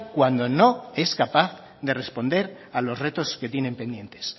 cuando no es capaz de responder a los retos que tienen pendientes